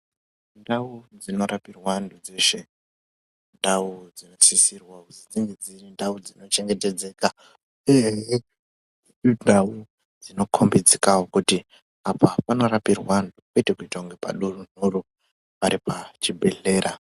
Ndau dzinorapirwe antu dzeshe indau dzinosisirwa kunge dziri ndau dzinochengetedzeka uyehe indau dzinokhombidzikawo kuti apa panorapirwe antu kwete kuite kunge padurunhuru, pari pachibhedhlera.